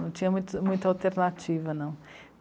Não tinha muito, muita alternativa, não.